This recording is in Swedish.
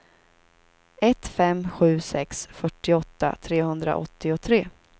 ett fem sju sex fyrtioåtta trehundraåttiotre